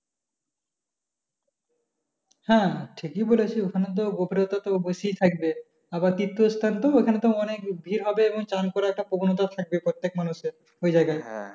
হ্যাঁ হ্যাঁ ঠিকই বলেছিস ওখানে তো বেশি থাকবে আবার তীর্থ স্থান তো ওখানে তো অনেক ভিড় হবে এবং চান করা একটা অনুতাপ থাকবে প্রত্যেক মানুষের ওই জায়গায়।